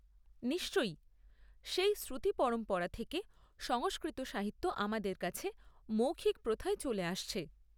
নিশ্চয়ই। সেই শ্রুতি পরম্পরা থেকে সংস্কৃত সাহিত্য আমাদের কাছে মৌখিক প্রথায় চলে আসছে।